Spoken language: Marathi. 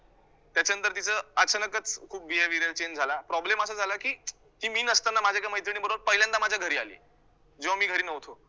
त्याच्यानंतर तिचा अचानकच खूप behaviour change झाला problem असा झाला, की मी नसताना माझ्या एका मैत्रिणीबरोबर पहिल्यांदा माझ्या घरी आली जेव्हा मी घरी नव्हतो